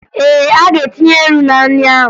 Ee, ọ ga-etinye ńnú na nri ahụ